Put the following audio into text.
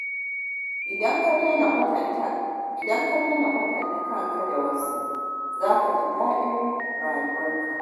Idan ka daina kwatanta kanka da wasu, za ka ji daɗin rayuwarka.